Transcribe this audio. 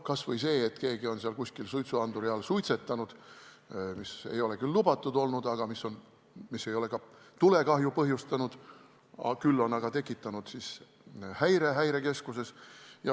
Näiteks keegi on kuskil suitsuanduri all suitsetanud, mis ei ole küll lubatud olnud, aga mis ei ole tulekahju põhjustanud, küll on aga tekitanud häire Häirekeskuses.